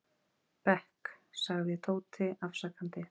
bekk, sagði Tóti afsakandi.